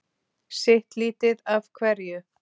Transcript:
Sitt lítið af hverju!